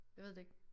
Jeg ved det ikke